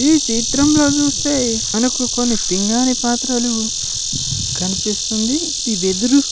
ఈ చిత్రంలో చూస్తే మనకు కొన్ని పింగాణి పాత్రలు కన్పిస్తుంది. ఈ వెదురు --